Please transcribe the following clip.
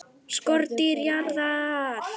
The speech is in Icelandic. SKORDÝR JARÐAR!